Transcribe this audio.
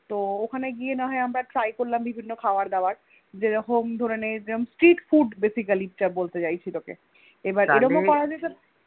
তো ওখানে গিয়ে না হয়ে আমরা Try করলাম বিভিন্ন খাবার দাবার যেরকম ধরে নে Street Food basically বলতে চাইছি তোকে এবার এরম ও করা যেতে পারে